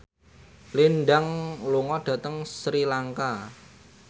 Lin Dan lunga dhateng Sri Lanka